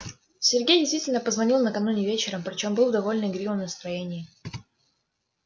сергей действительно позвонил накануне вечером при чём был в довольно игривом настроении